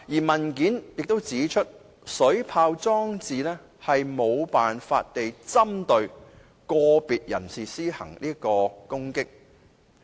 文件又指出，水炮裝置無法針對個別人士施行攻擊。